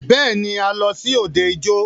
Bẹ́ẹ̀ni,a lọ sí òde ijó.